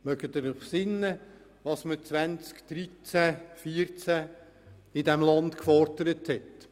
Erinnern Sie sich daran, was 2013/2014 in diesem Land gefordert wurde?